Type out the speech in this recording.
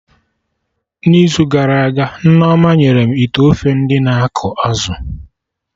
n'izu gara aga, Nneoma nyere m ite ofe ndị na akọ azụ